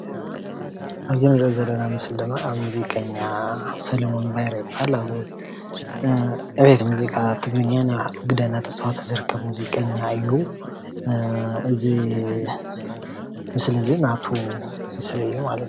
ኣብዚ እንሪኦ ዘለና ምስሊ ድማ ሙዚቀኛ ሰለሙን ባይረ ይበሃል። ኣብ ዕብየት ሙዚቃ ትግርኛ ናይ ባዕሉ ግደ እናተፃወተ ዝርከብ ሙዚቀኛ እዩ ። እዚ ምስሊ እዙይ ናቱ ምስሊ እዪ።